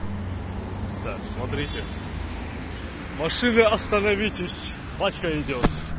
так смотрите машины остановитесь батька идёт